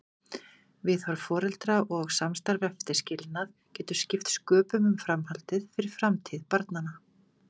Viðhorf foreldra og samstarf eftir skilnað getur skipt sköpum um framhaldið, fyrir framtíð barnanna.